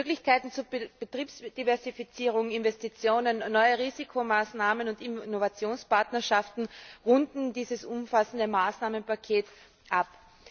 Möglichkeiten zur Betriebsdiversifizierung, Investitionen, neue Risikomaßnahmen und Innovationspartnerschaften runden dieses umfassende Maßnahmenpaket ab.